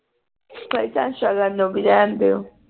ਕੋਈ ਤਾ ਤਾ ਸ਼ਗਨ ਜੋਗੀ ਰਹਿਣ ਦਿਓ